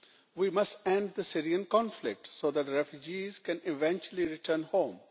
We must end the Syrian conflict so that refugees can eventually return home.